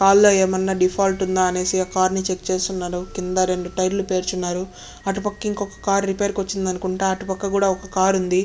Car ల ఎం అయినా డిఫాల్ట్ ఉండ అనేసి ఆ కార్ ని చెక్ చేస్తున్నారు కింద రెండు టైరులు పెరిచి ఉన్నారు అటుపక్క ఇంకోక కార్ రిపేర్ కి వచ్చిందనుకుంటా అటు పక్క కూడా ఇంకో కార్ ఉంది.